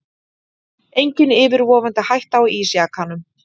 Engin yfirvofandi hætta af ísjakanum